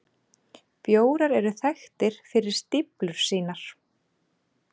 Bjórar eru þekktir fyrir stíflur sínar.